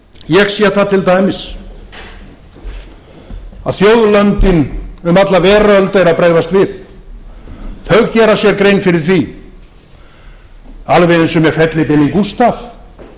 ég sé það til dæmis að þjóðlönd um alla veröld eru að bregðast við þau gera sér grein fyrir því alveg eins og með fellibylinn gústav